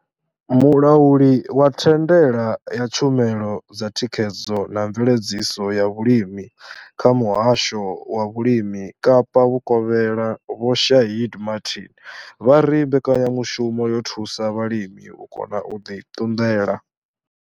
Mulauli wa thandela ya tshumelo dza thikhedzo na mveledziso ya vhulimi kha muhasho wa vhulimi Kapa Vhukovhela vho Shaheed Martin vha ri mbekanyamushumo yo thusa vhalimi u kona u ḓi ṱunḓela.